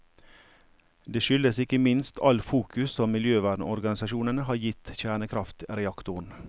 Det skyldes ikke minst all fokus som miljøvernorganisasjonene har gitt kjernekraftreaktoren.